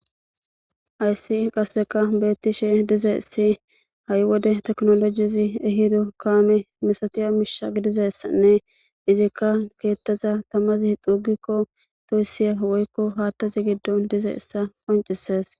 Haysi qaseka betishe dizaysi ha'i wode tekinolojizi ehizo kame masatiya Misha gidizasane izaka kethaza tamazi xugiko toysiyane hathazi gidon dizaysa qoncises